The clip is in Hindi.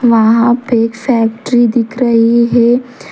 वहाँ पे एक फैक्ट्री दिख रही है।